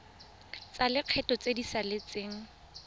tsa lekgetho tse di saletseng